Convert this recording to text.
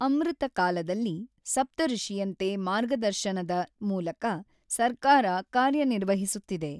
ಅಮೃತ ಕಾಲದಲ್ಲಿ ಸಪ್ತಋಷಿಯಂತೆ ಮಾರ್ಗದರ್ಶನದ ಮೂಲಕ ಸರ್ಕಾರ ಕಾರ್ಯನಿರ್ವಹಿಸುತ್ತಿದೆ.